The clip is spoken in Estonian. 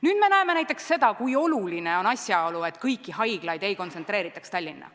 Nüüd me näeme näiteks seda, kui oluline on, et kõiki haiglaid ei kontsentreeritaks Tallinna.